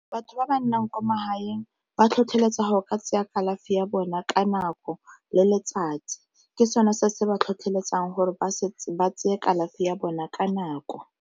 Batho ba ba nnang kwa magaeng ba tlhotlheletsa gore ka tseya kalafi ya bona ka nako le letsatsi, ke sone se se ba tlhotlheletsang gore ba tseye kalafi ya bona ka nako.